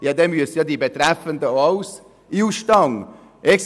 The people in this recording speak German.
Dann müssten die Betroffenen auch alle in den Ausstand treten!